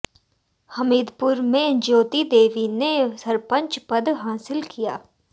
हमीदपुर में ज्योति देवी ने सरपंच पद हासिल किया